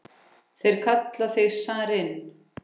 Þeir kalla þig zarinn!